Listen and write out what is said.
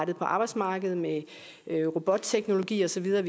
det på arbejdsmarkedet med robotteknologi og så videre